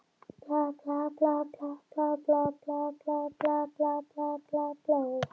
Í Hafnarfirði spurðu þeir að einn danskur maður væri á staðnum.